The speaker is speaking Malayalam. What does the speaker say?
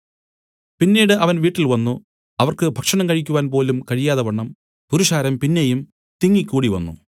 പിന്നീട് അവൻ വീട്ടിൽ വന്നു അവർക്ക് ഭക്ഷണം കഴിക്കുവാൻപോലും കഴിയാതവണ്ണം പുരുഷാരം പിന്നെയും തിങ്ങി കൂടിവന്നു